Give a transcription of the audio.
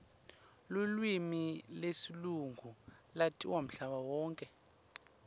lulwimi lesilungu latiwa mhlaba wonkhe